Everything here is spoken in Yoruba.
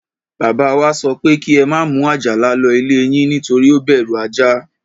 Bàbá wa sọ pé kí ẹ má mú Àjàlà lọ ilé yín, nítorí ó bẹ̀rù ajá.